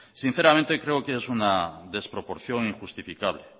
sinceramente creo que es una desproporción injustificable